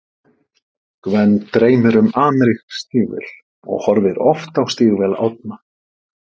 Gvend dreymir um amerísk stígvél og horfir oft á stígvél Árna.